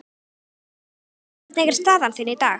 Guðný: Hvernig er staðan þín í dag?